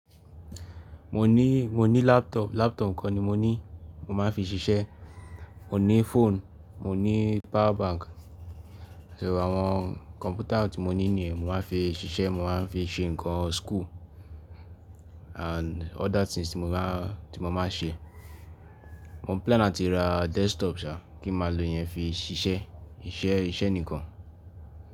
Mo ní, mo ní laptop, laptop kan ni mo ní, mo máa ń fi ṣiṣẹ́. Mo ní phone, mo ní power bank. Àti àwọn computer tí mo ní nìyẹn mo máa ń fi ṣiṣẹ́, mo máa ń fi ṣe nǹkan school and other things tí mo máa, tí mo máa ń ṣe. Mo plan láti ra desktop ṣá, kí n máa lo yẹn fi ṣiṣẹ́, iṣẹ́, iṣẹ́ nìkan.